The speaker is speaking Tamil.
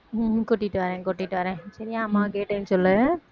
உம் கூட்டிட்டு வரேன் கூட்டிட்டு வரேன் சரியா அம்மாவை கேட்டேன்னு சொல்லு